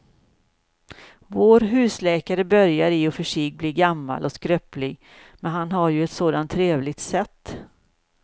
Vår husläkare börjar i och för sig bli gammal och skröplig, men han har ju ett sådant trevligt sätt!